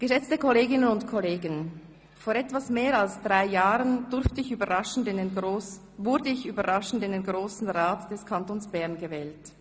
«Geschätzte Kolleginnen und Kollegen, vor etwas mehr als drei Jahren wurde ich überraschend in den Grossen Rat des Kantons Bern gewählt.